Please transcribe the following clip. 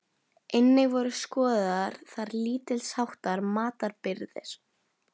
Einnig voru skoðaðar þar lítils háttar matarbirgðir.